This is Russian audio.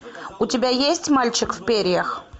у тебя есть мальчик в перьях